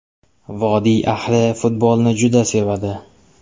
Vodiy ahli futbolni juda sevadi.